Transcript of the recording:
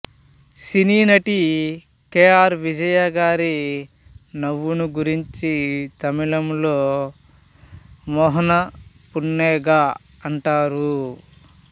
సినీనటి K R Vijaya గారి నవ్వును గురించి తమిళంలో మోహనపున్నగై అంటారు